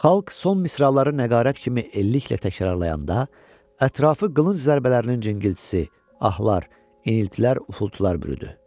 Xalq son misraları nəğarət kimi elliklə təkrarlayanda ətrafı qılınc zərbələrinin cingiltisi, ahlar, iniltilər, ufiltular bürüdü.